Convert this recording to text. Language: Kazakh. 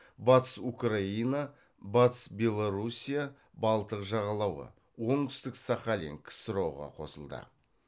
батыс украина батыс белоруссия балтық жағалауы оңүстік сахалин ксро ға қосылды